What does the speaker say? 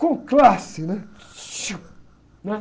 Com classe, né? né?